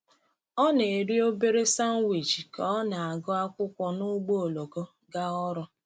Ọ na-eri obere sanwichi ka ọ na-agụ akwụkwọ n’ụgbọ oloko gaa ọrụ.